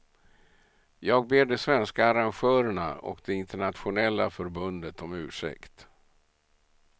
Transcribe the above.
Jag ber de svenska arrangörerna och det internationella förbundet om ursäkt.